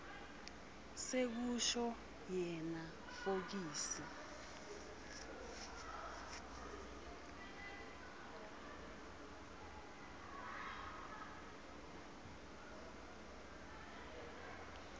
sekusho yena fokisi